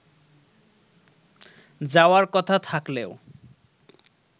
যাওয়ার কথা থাকলেও